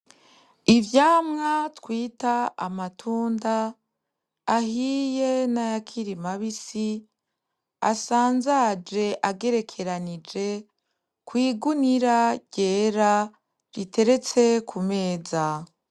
Ivyamwa twita amatunda ahiye n'ayakiri mabisi asanzaje agerekeranije kw'igunira ryera riteretse kumeza.